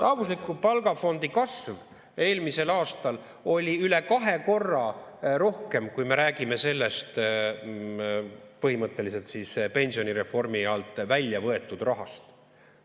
Rahvusliku palgafondi kasv eelmisel aastal oli üle kahe korra suurem, kui me räägime sellest põhimõtteliselt pensionireformi alt välja võetud rahast.